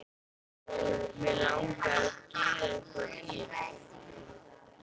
Mig langar að gera eitthvað illt.